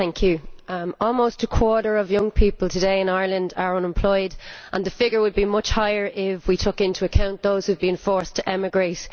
Madam President, almost a quarter of young people today in Ireland are unemployed and the figure would be much higher if we took into account those who have been forced to emigrate.